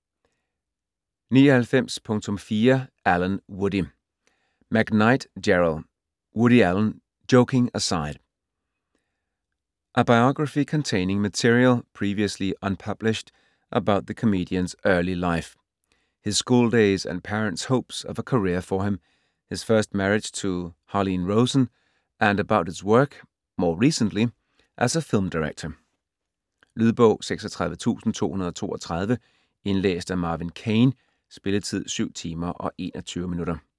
99.4 Allen, Woody McKnight, Gerald: Woody Allen: joking aside A biography containing material, previously unpublished, about the comedian's early life (his schooldays and parents' hopes of a career for him), his first marriage to Harlene Rosen and about his work - more recently - as a film director. Lydbog 36232 Indlæst af Marvin Kane. Spilletid: 7 timer, 21 minutter.